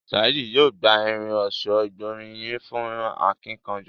Saheed yóò gbà Irin ọ̀ṣọ́ ìgbóríyìn fún akínkanjú.